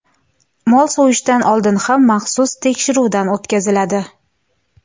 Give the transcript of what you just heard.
Mol so‘yishdan oldin ham maxsus tekshiruvdan o‘tkaziladi.